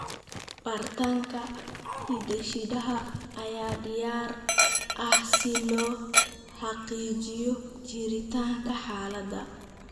Baaritaanka hidde-sidaha ayaa diyaar ah si loo xaqiijiyo jiritaanka xaaladda.